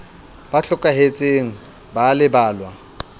ba hlokahetseng ba a lebalwa